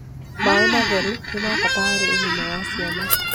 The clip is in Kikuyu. maĩ matheru nĩmabata harĩ ũgima wa ciana